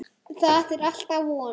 Það er alltaf von!